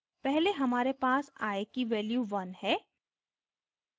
पहले हमारे पास i की value 1 है